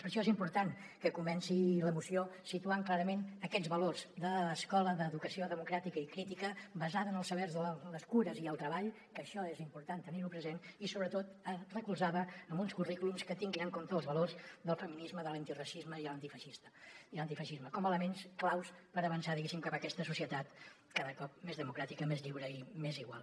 per això és important que comenci la moció situant clarament aquests valors d’escola d’educació democràtica i crítica basada en els sabers les cures i el treball que això és important tenir ho present i sobretot recolzada en uns currículums que tinguin en compte els valors del feminisme de l’antiracisme i l’antifeixisme com a elements claus per avançar diguéssim cap a aquesta societat cada cop més democràtica més lliure i més igual